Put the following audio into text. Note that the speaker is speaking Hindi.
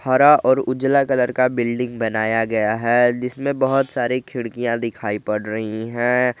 हरा और उजला कलर का बिल्डिंग बनाया गया है जिसमें बहोत सारि खिड़कियां दिखाई पड़ रही हैं।